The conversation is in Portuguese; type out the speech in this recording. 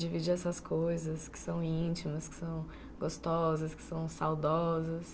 Dividir essas coisas que são íntimas, que são gostosas, que são saudosas.